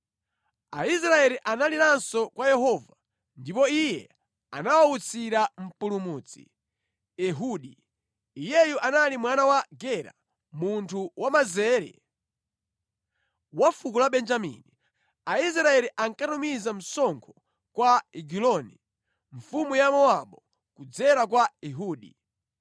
Aisraeli analiranso kwa Yehova, ndipo Iye anawawutsira mpulumutsi, Ehudi. Iyeyu anali mwana wa Gera, munthu wamanzere, wa fuko la Benjamini. Aisraeli ankatumiza msonkho kwa Egiloni, mfumu ya Mowabu, kudzera kwa Ehudi.